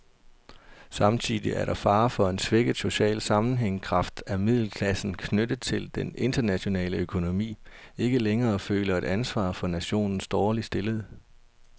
Samtidig er der fare for en svækket social sammenhængskraft, at middelklassen, knyttet til den internationale økonomi, ikke længere føler et ansvar for nationens dårligt stillede.